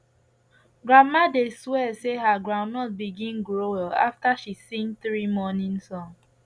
grandma dey swear say her groundnut begin grow well after she sing three morning song